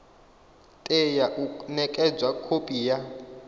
tea u nekedzwa khophi ya